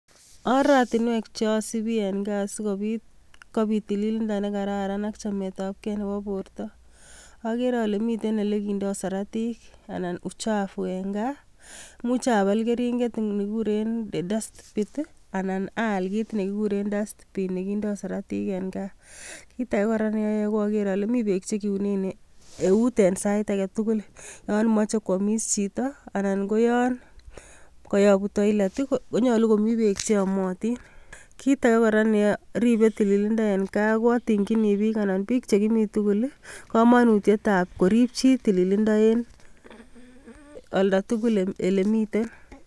Oratinwek cheasibi eng gaa siko it tililindo ne kararan, ak chametakei nebo borto, agere ale miten ole kindoi siratik anan uchufu eng gaa, imuch apal keriget eng dust pit anan aal kit nekiguren waste pin nekindoi siratik en gaa. Kit age kora ko ager ale mi bek che kiune eut en sait age tugul, yon machei koamis chito, anan ko yon kayabu toilet konyalu komi bek cheamotin. Kit age kora neribei tililindo eng gaa, kotienji bik korib tililindo en olda tugul ale mito .